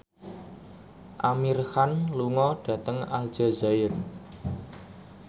Amir Khan lunga dhateng Aljazair